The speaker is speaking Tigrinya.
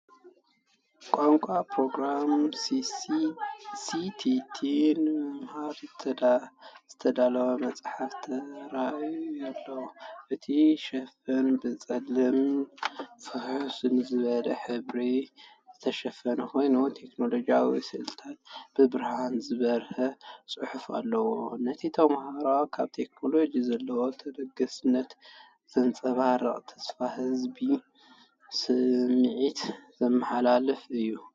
ቋንቋ ፕሮግራሚንግ “C++” ንምምሃር ዝተዳለወ መጽሓፍ ተራእዩ ኣሎ። እቲ ሽፋን ብጸሊምን ፍኹስ ዝበለን ሕብሪ ዝተሸፈነ ኮይኑ፡ቴክኖሎጂካዊ ስእልታትን ብብርሃን ዝበርህ ጽሑፍን ኣለዎ። ነቲ ተማሃራይን ኣብ ቴክኖሎጅ ዘለዎ ተገዳስነትን ዘንጸባርቕ ተስፋ ዝህብ ስምዒት ዘመሓላልፍ እዩ።